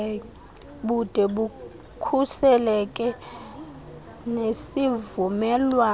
bude bukhuseleke nezivumelwano